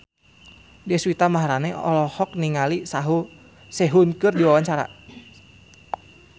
Deswita Maharani olohok ningali Sehun keur diwawancara